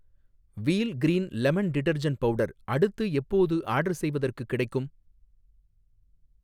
Wheel green lemon detergent powder அடுத்து எப்போது order செய்வதற்குக் கிடைக்கும்?